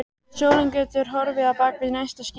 Sólin gæti horfið á bak við næsta ský.